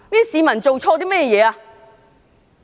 市民做錯了甚麼？